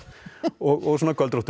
og svona